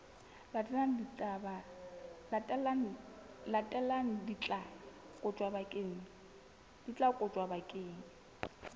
latelang di tla kotjwa bakeng